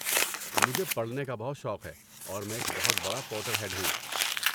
مجھے پڑھنے کا بہت شوق ہے اور میں ایک بہت بڑا پوٹر ہیڈ ہوں۔